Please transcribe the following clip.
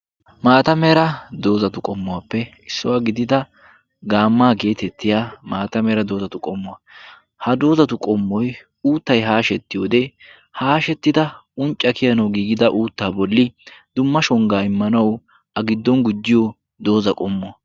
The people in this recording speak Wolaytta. Maata mera doozatu qommuwaappe issuwaa gidida gaammaa geetettiya maata mera doozatu qommuwaa. ha doozatu qommoi uuttai haashetti wode haashettida uncca kiyana giigida uuttaa bolli dumma shonggaa immanau a giddon gujjiyo dooza qommuwaa.